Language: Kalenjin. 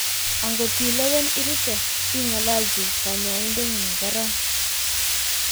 angot ilewen irute, ingololchi kanyoindetngung korong